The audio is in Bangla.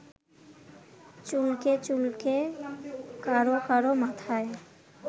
চুলকে চুলকে কারো কারো মাথায়